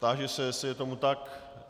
Táži se, jestli je tomu tak.